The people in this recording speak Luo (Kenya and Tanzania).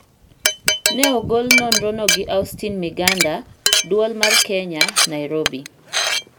Ne ogol nonrono gi Austine Miganda, Duol mar Kenya, Nairobi.